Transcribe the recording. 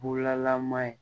Bugulama in